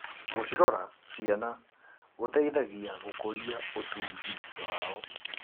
Gũcirora ciana gũteithagia gũkũria ũtungi wao.